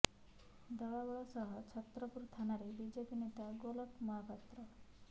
ଦଳବଳ ସହ ଛତ୍ରପୁର ଥାନାରେ ବିଜେପି ନେତା ଗୋଲକ ମହାପାତ୍ର